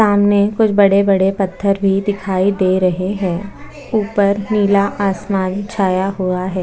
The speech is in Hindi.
सामने कुछ बड़े-बड़े पत्थर दिखाई दे रहे है ऊपर नीला आसमान छाया हुआ है।